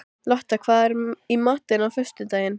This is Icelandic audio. Lotta, hvað er í matinn á föstudaginn?